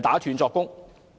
打斷作供。